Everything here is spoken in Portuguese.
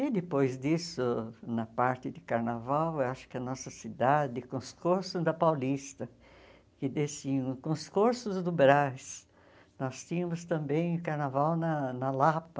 E depois disso, na parte de carnaval, eu acho que a nossa cidade, com os corsos da Paulista, que desciam com os corsos do Brás, nós tínhamos também o carnaval na na Lapa.